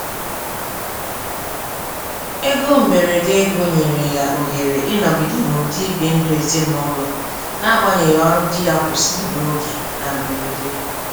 Ego mberede ego nyere ya ohere ịnọgịde n'ụdị ibi ndụ ezinụlọ n'agbanyeghị ọrụ dị ya kwụsịrị n'oge na mberede.